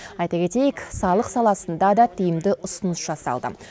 айта кетейік салық саласында да тиімді ұсыныс жасалды